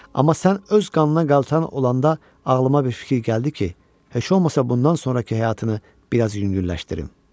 Amma sən öz qanına qaltan olanda ağlıma bir fikir gəldi ki, heç olmasa bundan sonrakı həyatını biraz yüngülləşdirim.